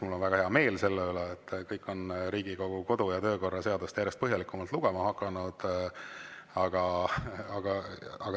Mul on väga hea meel selle üle, et kõik on Riigikogu kodu‑ ja töökorra seadust järjest põhjalikumalt lugema hakanud.